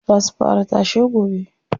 Za su fara tashe gobe.